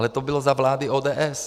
Ale to bylo za vlády ODS.